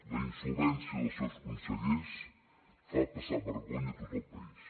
la insolvència dels seus consellers fa passar vergonya a tot el país